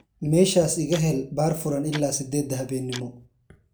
meeshaas iga hel baar furan ilaa siddeedda habeenimo